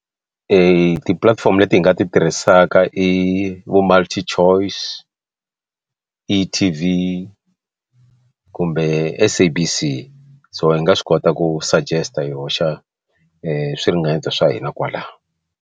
Tipulatifomo leti hi nga ti tirhisaka i vo Multichoice Etv kumbe SABC so hi nga swi kota ku suggest hi hoxa swi ringanyeto swa hina kwala.